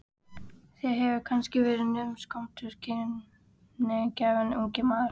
Þér hefur kannski verið naumt skömmtuð kímnigáfan, ungi maður.